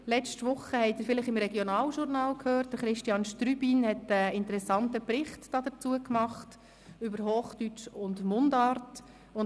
: Letzte Woche haben Sie vielleicht im Regionaljournal den interessanten Bericht von Christian Strübin über Hochdeutsch und Mundart gehört.